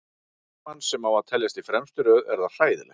Fyrir markmann sem á að teljast í fremstu röð er það hræðilegt.